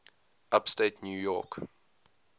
upstate new york